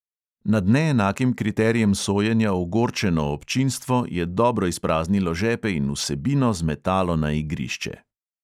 Nad neenakim kriterijem sojenja ogorčeno občinstvo je dobro izpraznilo žepe in vsebino zmetalo na igrišče.